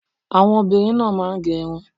Àwọn obìnrin náà máa ń gẹ irun